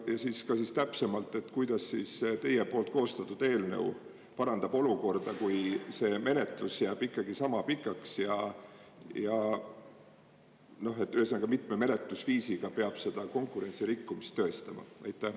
Ja siis ka täpsemalt, et kuidas teie poolt koostatud eelnõu parandab olukorda, kui see menetlus jääb ikkagi sama pikaks ja ühesõnaga, mitme menetlusviisiga peab seda konkurentsirikkumist tõestama?